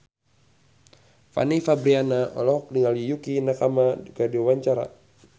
Fanny Fabriana olohok ningali Yukie Nakama keur diwawancara